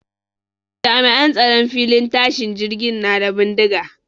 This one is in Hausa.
Jami'an tsaron filin tashin jirgin na da bindiga